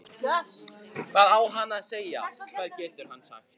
Hvað á hann að segja, hvað getur hann sagt?